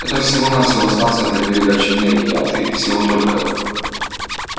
это всего-навсего станция для передачи энергии а ты всего только